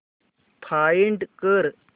find कर